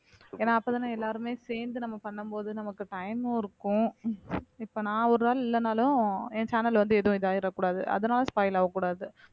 ஏன்னா அப்பதானே எல்லாருமே சேர்ந்து நம்ம பண்ணும் போது நமக்கு time உம் இருக்கும் இப்ப நான் ஒரு நாள் இல்லைனாலும் என் channel வந்து எதுவும் இதாயிரக்கூடாது அதனால spoil ஆகக்கூடாது